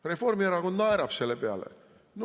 Reformierakond naerab selle peale.